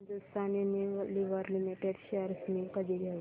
Hindustan Unilever limited shares मी कधी घेऊ